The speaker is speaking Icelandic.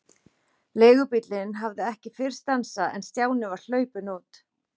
Leigubíllinn hafði ekki fyrr stansað en Stjáni var hlaupinn út.